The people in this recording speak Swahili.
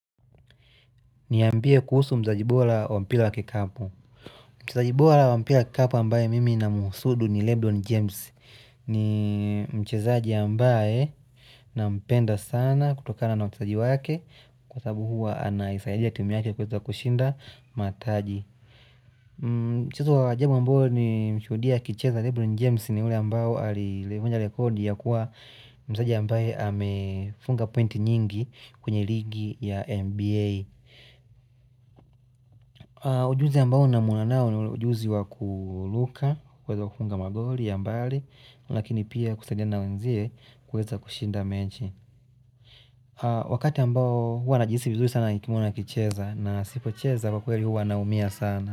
Niambie kuhusu mzaji bora wa mpila wa kikapo. Mchezaji bora wa mpila ya kikapo ambaye mimi namhusudu ni Leblon James. Ni mchezaji ambaye nampenda sana kutokana na uchezaji wake kwa sababu huwa anaisaidia timu yake kuweza kushinda mataji. Mchezo wa ajabu ambao nimeshudia akicheza Leblon James ni ule ambayo alivunja rekodi ya kuwa mchezaji ambaye amefunga pointi nyingi kwenye ligi ya MBA. Ujuzi ambao namwona nao ni ujuzi wa kuluka, kuweza kufunga magoli ya mbali, lakini pia kusaidiana na wenzie kuweza kushinda mechi. Wakati ambao huwa najihisi vizuri sana nikimwona akicheza na asipocheza kwa kweli huwa naumia sana.